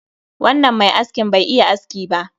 Wannan mai askin Bai iya aski ba